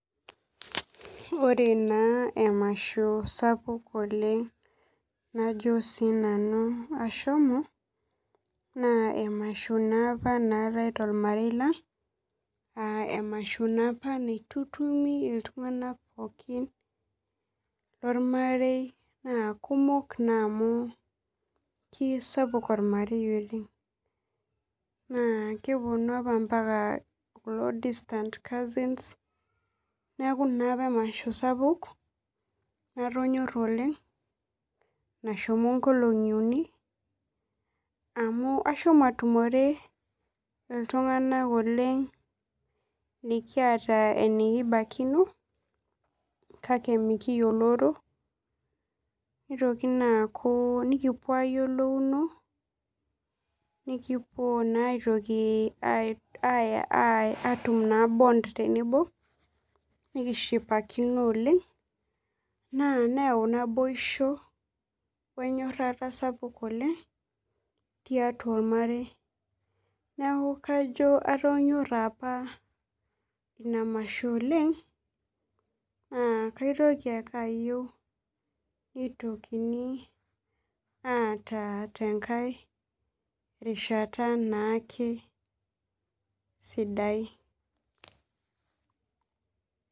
Ore emasho sapuk najo nanu ashomo, naa emasho apa natae tormarei lang ,emasho apa naitutumi iltunganak pookin lormarei naa kumok naa amu kisapuk ormarei oleng ,naa keponu naa apa mpaka kulo distance cousins neeku emasho sapuk naa amu natonyora oleng amu eshomo nkolongi uni nashomo atumore iltunganak oleng likiata enikibaikino kake mikiyioloro, nitoki naa aaku nikipuo ayiolouno nkipuo atum naa bont tenebo ,nikishipakino oleng naa neyau naboisho wenyorata sapuk oleng tiatua ilo mareei ,neeku kajo atonyora apa ina masho oleng ,naa kayieu ake nitokini aata tenake rishata na ake sidai.